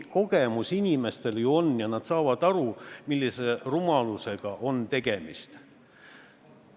Inimestel on ju kogemusi ja nad saavad aru, millise rumalusega on tegemist.